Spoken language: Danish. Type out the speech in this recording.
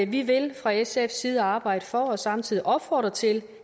vi vil fra sfs side arbejde for og samtidig opfordre til